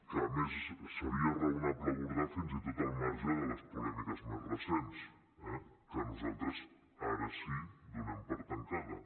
que a més seria raonable abordar fins i tot al marge de les polèmiques més recents eh que nosaltres ara sí donem per tancades